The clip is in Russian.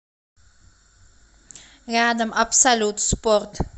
рядом абсолют спорт